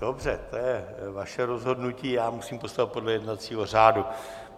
Dobře, to je vaše rozhodnutí, já musím postupovat podle jednacího řádu.